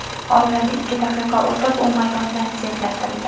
Oradan ikki daqiqa o‘tib, u maydondan chetlatildi.